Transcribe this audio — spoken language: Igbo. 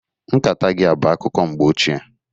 Nkata gị a bụ akụkọ mgbe ochie